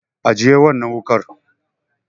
Ajiye wannan wuƙar.